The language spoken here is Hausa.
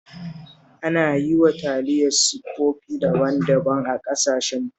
Ana yi wa taliya siffofi daban-daban a ƙasashen Turai